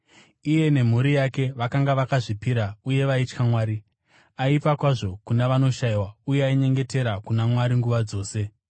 Iye nemhuri yake vakanga vakazvipira uye vaitya Mwari; aipa kwazvo kuna vanoshayiwa uye ainyengetera kuna Mwari nguva dzose.